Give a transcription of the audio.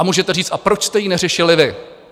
A můžete říct - a proč jste ji neřešili vy?